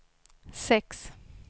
sex